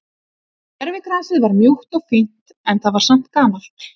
Gervigrasið var mjúkt og fínt en það er samt gamalt.